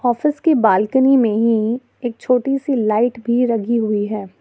Office के balcony में ही एक छोटी सी लाइट भी लगी हुई है।